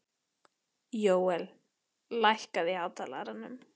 Jóel, lækkaðu í hátalaranum.